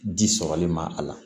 Di sɔrɔli ma a la